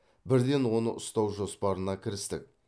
бірден оны ұстау жоспарына кірістік